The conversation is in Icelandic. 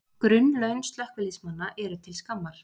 Grunnlaun slökkviliðsmanna til skammar